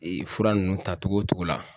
fura nunnu ta cogo cogo la.